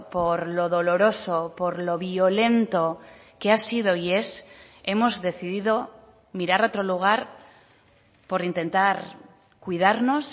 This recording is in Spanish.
por lo doloroso por lo violento que ha sido y es hemos decidido mirar a otro lugar por intentar cuidarnos